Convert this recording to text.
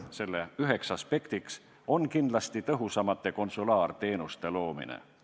Selle üks aspekt on kindlasti tõhusamate konsulaarteenuste loomine.